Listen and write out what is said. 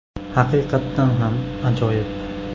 Haqiqatan ham ajoyib!”.